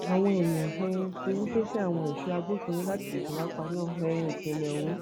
àwọn èèyàn um ti ń ké sí àwọn èso agbófinró láti tètè wáá paná um ìṣẹlẹ ọhún